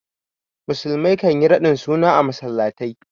Musulmai kan yi raɗin suna a masallatai.